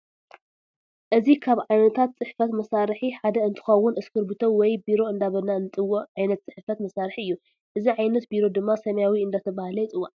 እዚ ካብ ዓይነታት ፅሕፈት መሳርሒ ሓደ እንትከውን እሰኪርቢቶ ወይ ቢሮ እንዳበልና እነፅዎፆ ዓይነት ፅሕፈት መሳርሒ እዩ ።እዚ ዓይነት ቢሮ ድማ ሰማያዊ እነዳተባሃለ ይፅዋዕ።